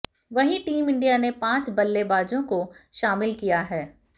वहीं team India ने पांच बल्लेबाजों को शामिल किया है